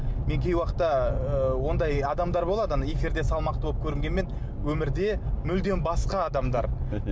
мен кей уақытта ы ондай адамдар болады ана эфирде салмақты болып көрінгенмен өмірде мүлдем басқа адамдар